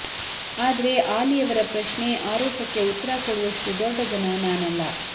ಆದರೆ ಆಲಿಯವರ ಪ್ರಶ್ನೆ ಆರೋಪಕ್ಕೆ ಉತ್ತರ ಕೊಡುವಷ್ಟು ದೊಡ್ಡ ಜನ ನಾನಲ್ಲ